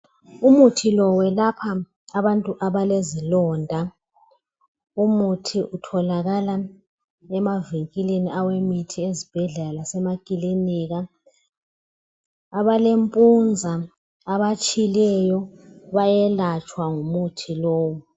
Umuthi lo ukwelapha abantu abalezilonda. Umuthi lowu utholakala emavinkilini awemithi, ezibhedlela lasemakilinika. Abalempunza, abatshileyo bayelatshwa ngumuthi lowu.